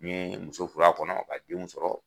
N ye muso furu a kɔnɔ n ye denw sɔrɔ